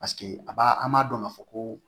Paseke a b'a an b'a dɔn ka fɔ ko